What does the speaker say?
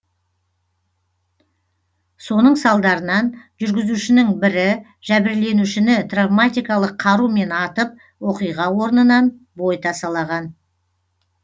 соның салдарынан жүргізушінің бірі жәбірленушіні травматикалық қарумен атып оқиға орнынан бой тасалаған